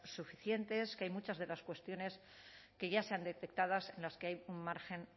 suficientes que hay muchas de las cuestiones que ya se han detectadas en las que hay un margen